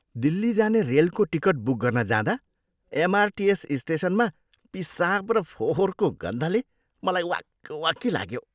दिल्ली जाने रेलको ticket book गर्न जाँदा एमआरटिएस स्टेसनमा पिसाब र फोहोरको गन्धले मलाई वाकवाकी लाग्यो।